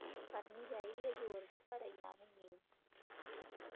ਕਰਨੀ ਚਾਹੀਦੀ ਆ ਜੋਰ ਦੀ ਪਰ ਇੰਨਾ ਵੀ ਨਹੀਂ